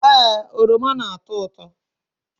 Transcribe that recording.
Ee, oroma na-atọ ụtọ